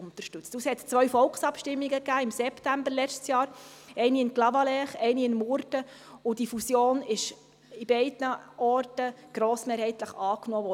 Es gab zwei Volksabstimmungen im September des letzten Jahres, eine in Clavaleyres und eine in Murten, und die Fusion wurde an beiden Orten grossmehrheitlich angenommen.